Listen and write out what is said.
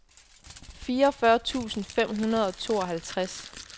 fireogfyrre tusind fem hundrede og tooghalvtreds